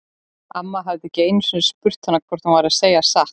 Amma hafði ekki einu sinni spurt hana hvort hún væri að segja satt.